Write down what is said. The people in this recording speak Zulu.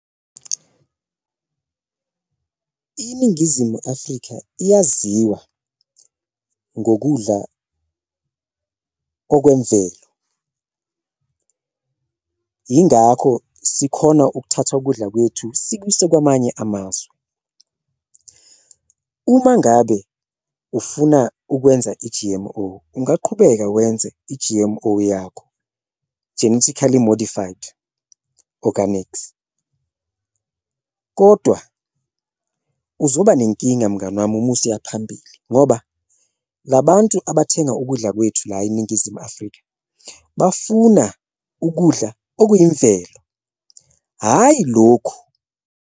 INingizimu Afrika iyaziwa ngokudla okwemvelo yingakho sikhona ukuthatha ukudla kwethu sikuse kwamanye amazwe, uma ngabe ufuna ukwenza i-G_M_O ungaqhubeka wenze i-G_M_O yakho, genetically modified organics. Kodwa uzoba nenkinga mngani wami uma usuya phambili ngoba la bantu abathenga ukudla kwethu la eNingizimu Afrika bafuna ukudla okuyimvelo, hhayi lokhu.